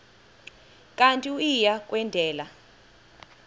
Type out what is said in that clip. kanti uia kwendela